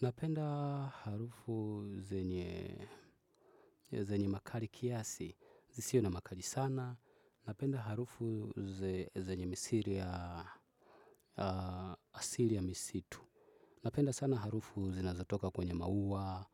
Napenda harufu zenye makali kiasi. Zisizo na makali sana. Napenda harufu zenye misiri ya asiri ya misitu. Napenda sana harufu zinazatoka kwenye maua,